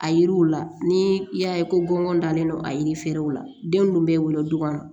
A yiriw la ni y'a ye ko gɔngɔn dalen don a yiriw la den ninnu bɛ wolo du kɔnɔ